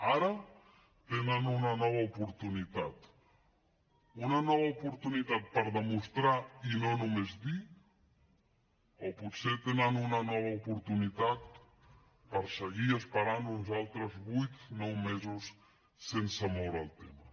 ara tenen una nova oportunitat una nova oportunitat per demostrar i no només dir o potser tenen una nova oportunitat per seguir esperant uns altres vuit nou mesos sense moure el tema